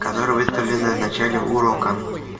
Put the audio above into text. которые выставлены в начале урока